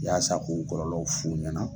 Yaasa ko kɔlɔlɔw f'u ɲɛna